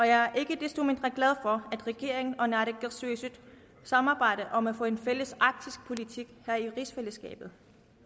jeg er ikke desto mindre glad for at regeringen og naalakkersuisut samarbejder om at få en fælles arktisk politik her i rigsfællesskabet